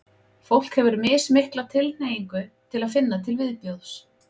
fólk hefur mismikla tilhneigingu til að finna til viðbjóðs